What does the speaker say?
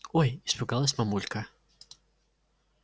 ой испугалась мамулька